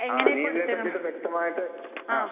ആഹ്. അതിനെക്കുറിച്ച് വ്യക്തമായിട്ട് ആഹ്